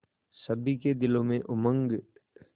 सभी के दिलों में उमंग